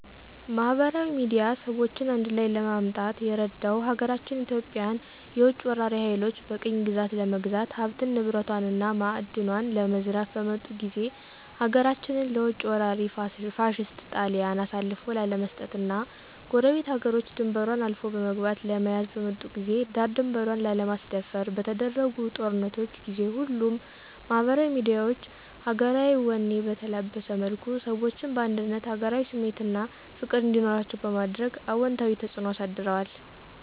ማህበራዊ ሚድያ ሰዎችን አንድላይ ለማምጣት የረዳው ሀገራችን ኢትዮጵያን የውጭ ወራሪ ሀይሎች በቅኝ ግዛት ለመግዛት ሀብት ንብረቷን እና ማእድኗን ለመዝረፍ በመጡ ጊዜ ሀገራችንን ለውጭ ወራሪ ፋሽስት ጣሊያን አሳልፎ ላለመስጠት እና ጎረቤት ሀገሮች ድንበሯን አልፎ በመግባት ለመያዝ በመጡ ጊዜ ዳር ድንበሯን ላለማስደፈር በተደረጉ ጦርነቶች ጊዜ ሁሉም ማህበራዊ ሚዲያዎች ሀገራዊ ወኔ በተላበሰ መልኩ ሰዎችን በአንድነት ሀገራዊ ስሜት አና ፍቅር እንዲኖራቸዉ በማድረግ አወንታዊ ተጽእኖ አሳድረዋል።